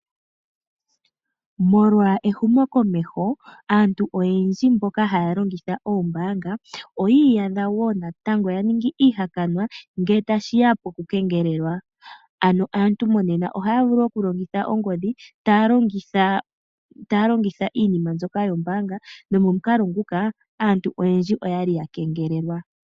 Molwa ehumokomeho aantu oyendji mboka haya longitha oombaanga oyi iyadha woo natango yaningi iihakanwa ngele tashiya pokukengelelwa . Ano aantu monena ohaya vulu okulongitha ongodhi taya longitha iinima mbyoka yombaanga nomomukalo nguka aantu oyendji oyali ya kengelelwa.